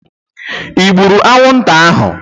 I gburu anwụnta ahu?